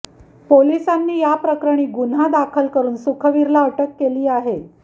पोलिसांनी याप्रकरणी गुन्हा दाखल करून सुखवीरला अटक केली आहे